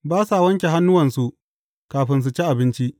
Ba sa wanke hannuwansu kafin su ci abinci!